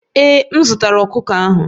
Ee, m zụtara ọkụkọ ahụ